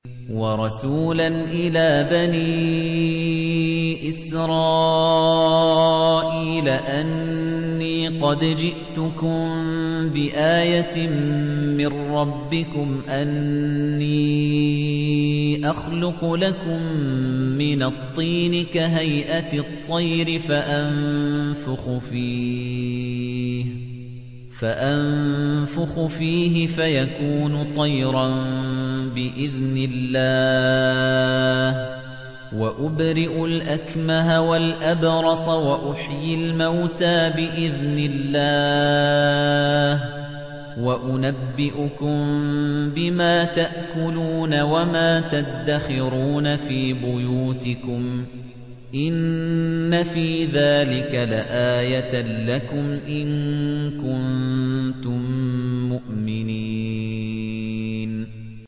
وَرَسُولًا إِلَىٰ بَنِي إِسْرَائِيلَ أَنِّي قَدْ جِئْتُكُم بِآيَةٍ مِّن رَّبِّكُمْ ۖ أَنِّي أَخْلُقُ لَكُم مِّنَ الطِّينِ كَهَيْئَةِ الطَّيْرِ فَأَنفُخُ فِيهِ فَيَكُونُ طَيْرًا بِإِذْنِ اللَّهِ ۖ وَأُبْرِئُ الْأَكْمَهَ وَالْأَبْرَصَ وَأُحْيِي الْمَوْتَىٰ بِإِذْنِ اللَّهِ ۖ وَأُنَبِّئُكُم بِمَا تَأْكُلُونَ وَمَا تَدَّخِرُونَ فِي بُيُوتِكُمْ ۚ إِنَّ فِي ذَٰلِكَ لَآيَةً لَّكُمْ إِن كُنتُم مُّؤْمِنِينَ